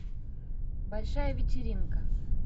большая вечеринка